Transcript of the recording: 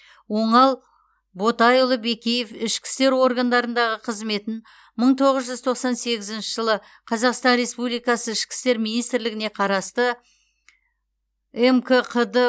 оңал ботайұлы бекеев ішкі істер органдарындағы қызметін мың тоғыз үз тоқсан сегізінші жылы қазақстан республикасы ішкі істер министрлігіне қарасты мкқд